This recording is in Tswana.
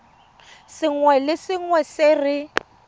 sengwe le sengwe se re